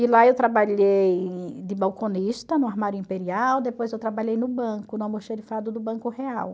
E lá eu trabalhei de balconista no armário imperial, depois eu trabalhei no banco, no almoxerifado do Banco Real.